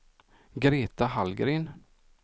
Greta Hallgren